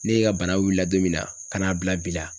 Ne ka bana wulila don min na ka n'a bila bi la